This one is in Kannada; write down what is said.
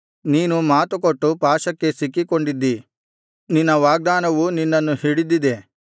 ನೀನು ಮಾತುಕೊಟ್ಟು ಪಾಶಕ್ಕೆ ಸಿಕ್ಕಿಕೊಂಡಿದ್ದೀ ನಿನ್ನ ವಾಗ್ದಾನವು ನಿನ್ನನ್ನು ಹಿಡಿದಿದೆ